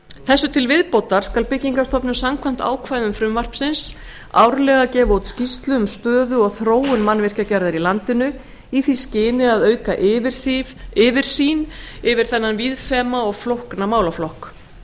þessu til viðbótar skal byggingarstofnun samkvæmt ákvæðum frumvarpsins árlega gefa út skýrslu um stöðu og þróun mannvirkjagerðar í landinu í því skyni að auka yfirsýn yfir þennan víðfeðma og flókna málaflokk